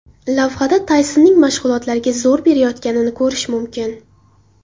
Lavhada Taysonning mashg‘ulotlarga zo‘r berayotganini ko‘rishi mumkin.